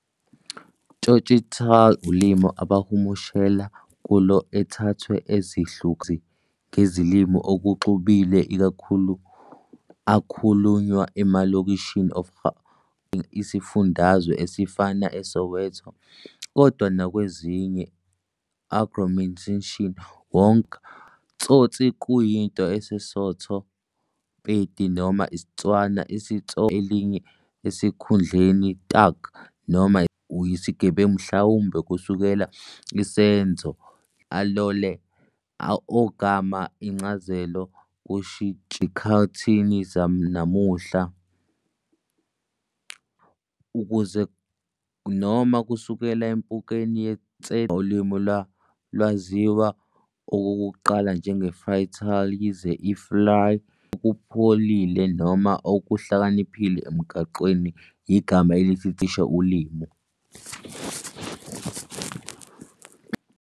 Tsotsitaal ulimi abahumushela kulo ethathwe ezihlukahlukene ngezilimi okuxubile ikakhulu akhulunywa emalokishini of Gauteng isifundazwe, ezifana eSoweto, kodwa nakwezinye agglomerations wonke eNingizimu Afrika. T"sotsi" kuyinto Sesotho, Pedi noma IsiTswana isitsotsi Ligama linye esikhundleni "Thug" noma "isigebengu" noma "uyisigebengu", mhlawumbe kusukela Isenzo "lotsa ho" "alole", ogama incazelo kushintshiwe ezikhathini zanamuhla ukufaka "ukuze con ", noma kusuka empukeni ye -tsetse, njengoba ulimi lwalwaziwa okokuqala njengoFlytaal, yize i-"flaai" isho nokuthi "okupholile" noma "okuhlakaniphile emgwaqweni". Igama elithi "taal" ngesiBhunu lisho "ulimi".